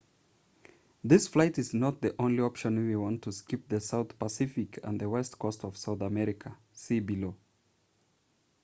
this flight is not the only option if you want to skip the south pacific and the west coast of south america. see below